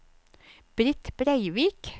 Britt Breivik